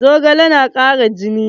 Zogale na ƙara jini.